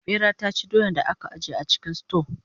ɓera ta ci doyan da aka ajiye a cikin suto